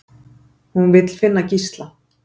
Hún vill finna Gísla.